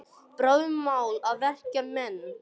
Bráðum var mál að vekja menn.